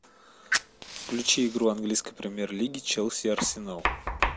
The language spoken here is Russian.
включи игру английской премьер лиги челси арсенал